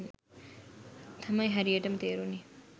තමයි හරියටම තේරුනේ.